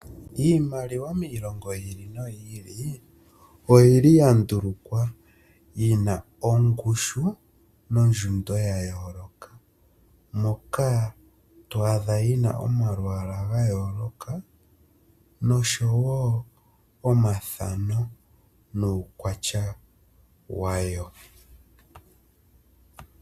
Iimaliwa miilongo yi ili noyi ili oyili ya ndulukwa yina ongushu nondjundo ya yooloka, moka to adha yina omalwaala ga yooloka nosho wo omathano nuukwatya wayo.